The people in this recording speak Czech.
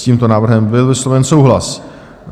S tímto návrhem byl vysloven souhlas.